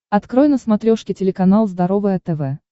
открой на смотрешке телеканал здоровое тв